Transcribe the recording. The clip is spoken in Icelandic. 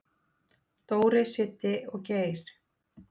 """Dóri, Siddi og Geir."""